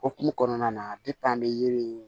Hokumu kɔnɔna na an bɛ yiri in